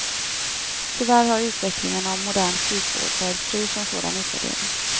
Tyvärr har utvecklingen av modern sjukvård varit fri från sådan utvärdering.